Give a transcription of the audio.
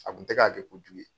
A kun tɛ k'a kɛ kojugu ye.